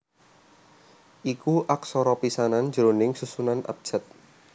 iku aksara pisanan jroning susunan abjad